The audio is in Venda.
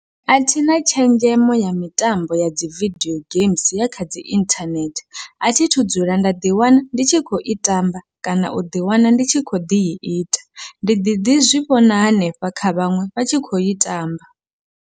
Athina tshenzhemo ya mitambo ya dzi vidio games, ya khadzi inthanethe athi thu dzula nda ḓi wana ndi tshi khou i tamba kana u ḓi wana ndi tshi kho ḓi ita, ndi ḓi ḓi zwivhona hanefha kha vhaṅwe vha tshi khou i tamba.